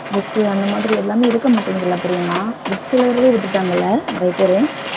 book அந்த மாதிரி எல்லாமே இருக்க மாட்டேங்குதுல்ல பிரியங்கா books எழுதறதையே விட்டுட்டாங்கல்ல நிறைய பேரு